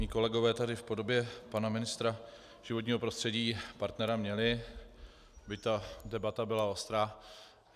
Mí kolegové tady v podobě pana ministra životního prostředí partnera měli, byť ta debata byla ostrá.